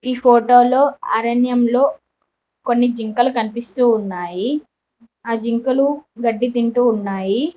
ఈ ఫోటో లో అరణ్యం లో కొన్ని జింకలు కనిపిస్తూ ఉన్నాయి ఆ జింకలు గడ్డి తింటూ ఉన్నాయి.